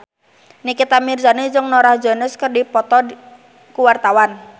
Nikita Mirzani jeung Norah Jones keur dipoto ku wartawan